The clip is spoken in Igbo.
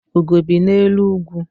Ugo bi n'elu ugwu.